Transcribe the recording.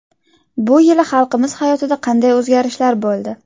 Bu yili xalqimiz hayotida qanday o‘zgarishlar bo‘ldi?